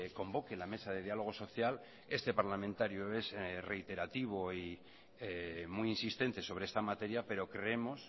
convoque la mesa de diálogo social este parlamentario es reiterativo y muy insistente sobre esta materia pero creemos